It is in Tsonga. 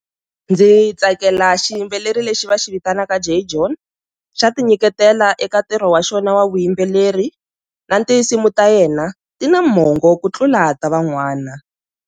Ndzi tsakela xiyimbeleri lexi va xi vitanaka J John, xa ti nyiketela eka ntirho wa xona wa vuyimbeleri na tinsimu ta yena ti na mongo ku tlula ta van'wana.